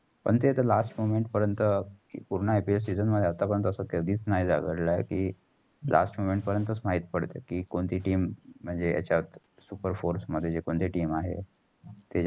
पण ते तर last moment पर्यंत पूर्ण IPLseason मध्ये आत्ता पर्यंत असा कधीच नाही घडलं. कि last moment पर्यंत माहित पडतंतय. कि कोणतेय team म्हणजे यचात super fourth जे कोणते team आहे.